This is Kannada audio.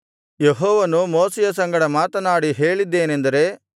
ಯೆಹೋವನು ಮೋಶೆಯ ಸಂಗಡ ಮಾತನಾಡಿ ಹೇಳಿದ್ದೇನೆಂದರೆ